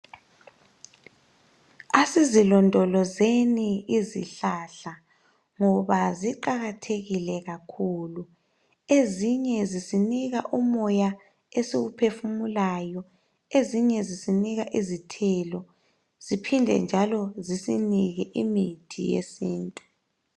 asizilondlozeni izihlahla ngoba ziqakathekile kakhulu ezinye zisinika umoya esiwuphefumulayo ezinye zisinika izithelo ziphinde njalo zisinike imithi yesintu